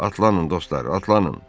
Atlanın dostlar, atlanın!